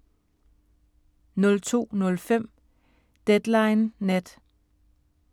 02:05: Deadline Nat